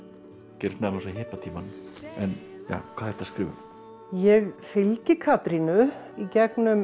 gerist meðal annars á hippatímanum hvað ertu að skrifa um ég fylgi Katrínu í gegnum